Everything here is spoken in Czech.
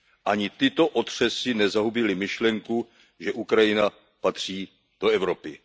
Ani tyto otřesy nezahubily myšlenku, že Ukrajina patří do Evropy.